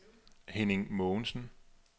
Henning Mogensen